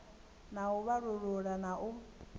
na u vhalulula na u